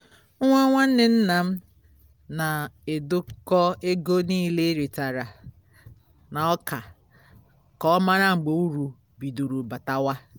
nwa nwanne nna m na-edekọ ego nile e retara na ọka ka ọ mara mgbe uru bidoro batawa